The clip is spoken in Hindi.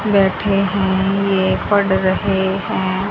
बैठे हैं ये पढ़ रहे है।